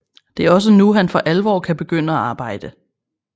Det er også nu han for alvor kan begynde at arbejde